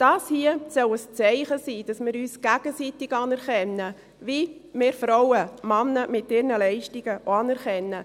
Dies hier soll ein Zeichen dafür sein, dass wir uns gegenseitig anerkennen, so wie wir Frauen Männer mit ihren Leistungen auch anerkennen.